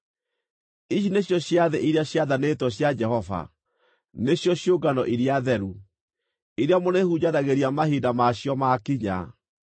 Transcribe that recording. “ ‘Ici nĩcio ciathĩ iria ciathanĩtwo cia Jehova, nĩcio ciũngano iria theru, iria mũrĩhunjanagĩria mahinda ma cio makinya.